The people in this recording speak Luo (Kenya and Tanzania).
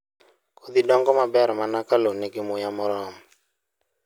Kodhi dongo maber mana ka lowo nigi muya moromo.